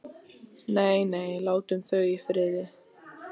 Nei, nei, látum þau í friði.